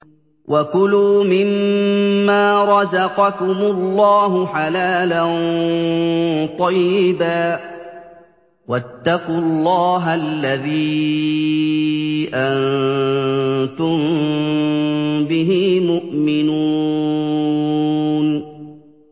وَكُلُوا مِمَّا رَزَقَكُمُ اللَّهُ حَلَالًا طَيِّبًا ۚ وَاتَّقُوا اللَّهَ الَّذِي أَنتُم بِهِ مُؤْمِنُونَ